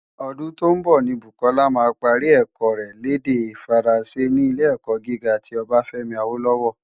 Ódún tó nbò ni Bukola má pári èkò rè l' èdè Fáránsé ni Ilé-èkò gigá ti Obafemi Awolowo.